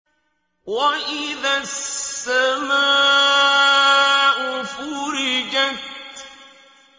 وَإِذَا السَّمَاءُ فُرِجَتْ